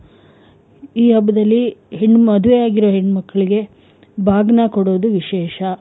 ಈ ಹಬ್ಬ್ದಲ್ಲಿ ಹೆಣ್ ಮದುವೆ ಆಗಿರೋ ಹೆಣ್ ಮಕ್ಳಿಗೆ ಬಾಗ್ನ ಕೊಡೋದು ವಿಶೇಷ.